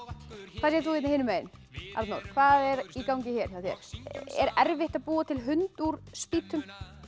hvað segir þú hérna hinum megin Arnór hvað er í gangi hér hjá þér er erfitt að búa til hund úr spýtum